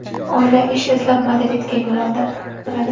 Oila ish izlab, Madridga yo‘l oladi.